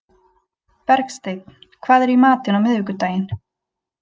Bergsteinn, hvað er í matinn á miðvikudaginn?